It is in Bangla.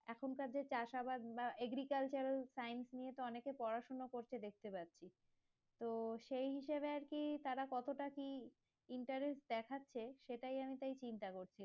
এখন তাদের চাষ আবাদ বা agriculture science নিয়ে তো অনেকে পড়াশোনা করছে দেখতে পাচ্ছি তো সেই হিসাবে কি তারা কতটা কি interest দেখাচ্ছে সেটাই আমি তাই চিন্তা করছি